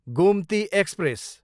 Gomti express